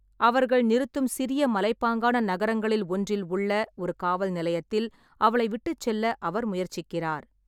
அவர்கள் நிறுத்தும் சிறிய மலைப்பாங்கான நகரங்களில் ஒன்றில் உள்ள ஒரு காவல் நிலையத்தில் அவளை விட்டுச் செல்ல அவர் முயற்சிக்கிறார்.